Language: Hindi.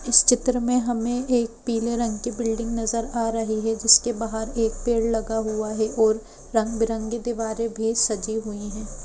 इस चित्र में हमें एक पीले रंग की बिल्डिंग नजर आ रही है जिसके बाहर एक पेड़ लगा हुआ है और रंग बिरंगी दीवारें भी सजी हुई है।